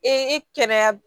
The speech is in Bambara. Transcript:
Ee kɛnɛya